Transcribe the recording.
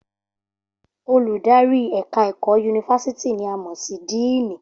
Olùdarí ẹ̀ka ẹ̀kọ́ yunifásítì ni a mọ̀ sí díìnì